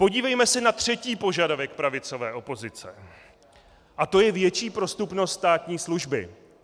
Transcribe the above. Podívejme se na třetí požadavek pravicové opozice a to je větší prostupnost státní služby.